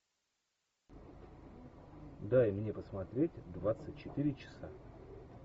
дай мне посмотреть двадцать четыре часа